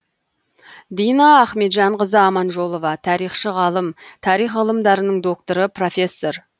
дина ахметжанқызы аманжолова тарихшы ғалым тарих ғылымдарының докторы профессор